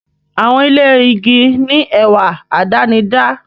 Àwọn ilé igi ní ẹwà àdánidá.